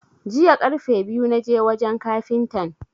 Jiya karfe biyu na je wajan kafintan.